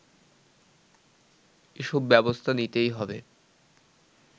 এসব ব্যবস্থা নিতেই হবে